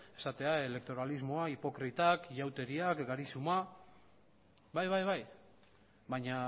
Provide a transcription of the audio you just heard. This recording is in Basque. esatea elektoralismoa hipokritak ihauteriak bai bai bai baina